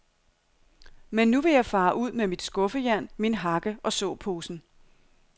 Men nu vil jeg fare ud med mit skuffejern, min hakke og såposen.